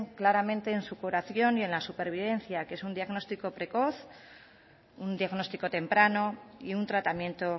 claramente en su curación y en la supervivencia que es un diagnostico precoz un diagnóstico temprano y un tratamiento